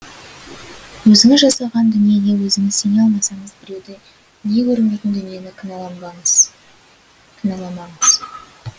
өзіңіз жасаған дүниеге өзіңіз сене алмасаңыз біреуді не көрінбейтін дүниені кінәламаңыз